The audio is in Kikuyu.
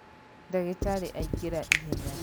Ndagĩtarĩ aingĩra ihenya